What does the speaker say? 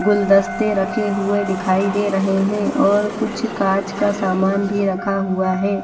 गुलदस्ते रखे हुए दिखाई दे रहे हैं और कुछ कांच का समान भी रखा हुआ है।